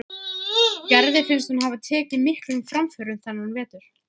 Gerði finnst hún hafa tekið miklum framförum þennan vetur.